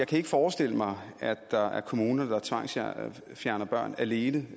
kan forestille mig at der er kommuner der tvangsfjerner børn alene